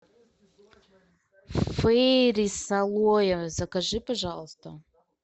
фейри с алоэ закажи пожалуйста